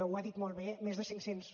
ho ha dit molt bé més de cinc cents